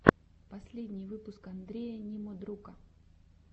последний выпуск андрея немодрука